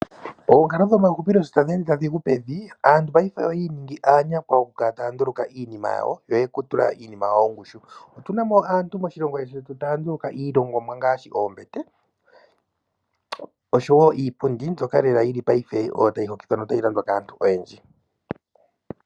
Oonkalo dhomahupilo sho tadhi ende tadhi gu pevi, aantu paife oyi iningi aanyakwa oku kala taya nduluka iinima yawo, yo oye ku tula iinima yawo ongushu. Otuna mo aantu moshilongo shetu taya nduluka ilongomwa ngaashi oombete oshowo iipundi mbyoka yili paife oyo tayi hokitha notayi landwa kaantu oyendji.